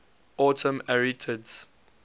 autumn arietids